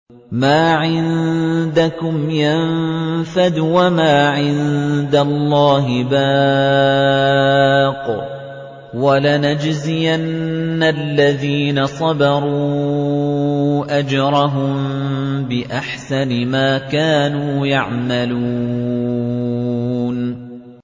مَا عِندَكُمْ يَنفَدُ ۖ وَمَا عِندَ اللَّهِ بَاقٍ ۗ وَلَنَجْزِيَنَّ الَّذِينَ صَبَرُوا أَجْرَهُم بِأَحْسَنِ مَا كَانُوا يَعْمَلُونَ